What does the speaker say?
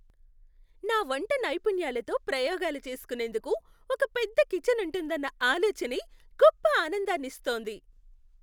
నా వంట నైపుణ్యాలతో ప్రయోగాలు చేసుకునేందుకు ఒక పెద్ద కిచన్ ఉంటుందన్న ఆలోచనే గొప్ప ఆనందాన్ని ఇస్తోంది.